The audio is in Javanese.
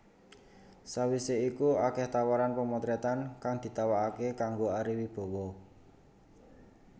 Sawisé iku akèh tawaran pamotrètan kang ditawakaké kanggo Ari Wibowo